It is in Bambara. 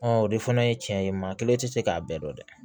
o de fana ye tiɲɛ ye maa kelen tɛ se k'a bɛɛ dɔn dɛ